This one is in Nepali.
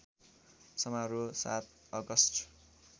समारोह ७ अगस्ट